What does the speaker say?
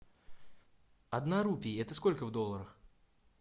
одна рупия это сколько в долларах